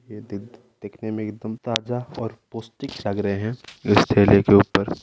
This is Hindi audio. ये देखने में एकदम ताजा और पौस्टिक लग रहे है इस ठेले के ऊपर।